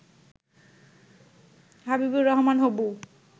হবিবর রহমান হবু